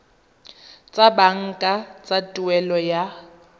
tsa banka tsa tuelo ya